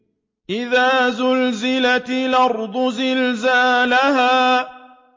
إِذَا زُلْزِلَتِ الْأَرْضُ زِلْزَالَهَا